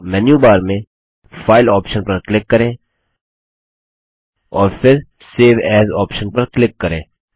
तो menu bar में file option पर क्लिक करें और फिर सेव एएस ऑप्शन पर क्लिक करें